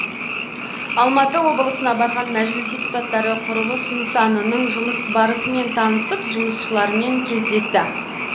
алматы облысына барған мәжіліс депутаттары құрылыс нысанының жұмыс барысымен танысып жұмысшылармен кездесті